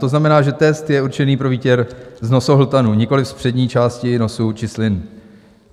To znamená, že test je určený pro výtěr z nosohltanu, nikoliv z přední části nosu či slin.